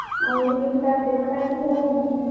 ହେଲେ ବି ତା ଦେହଟା ସବୁ,